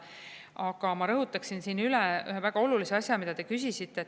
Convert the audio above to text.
Aga ma rõhutan üle ühe väga olulise asja, mille kohta te küsisite.